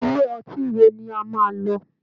Ilé ọtí wo ni a máa lọ?